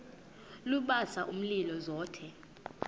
lubasa umlilo zothe